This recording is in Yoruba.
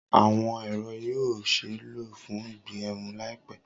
Awọn ẹrọ yoo ṣee lo fun ígẹrun laipẹ.